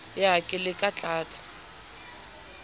ya ka le ka tlasa